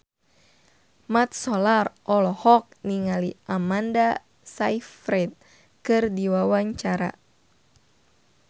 Mat Solar olohok ningali Amanda Sayfried keur diwawancara